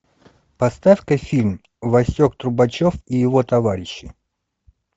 поставь ка фильм васек трубачев и его товарищи